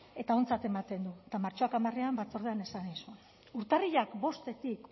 eta ontzat ematen du eta martxoak hamarean batzordean esan nizun urtarrilak bostetik